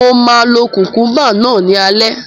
Mo máa lo kukumba náà ní alẹ́